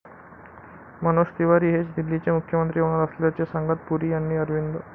मनोज तिवारी हेच दिल्लीचे मुख्यमंत्री होणार असल्याचे सांगत पुरी यांनी अरविंद.